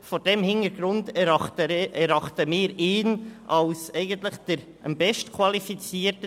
Vor diesem Hintergrund erachten wir ihn als am besten qualifiziert.